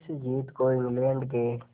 इस जीत को इंग्लैंड के